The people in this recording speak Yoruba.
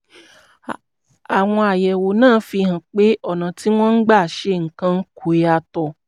àwọn àyẹ̀wò náà fi hàn pé ọ̀nà tí wọ́n ń gbà ṣe nǹkan kò yàtọ̀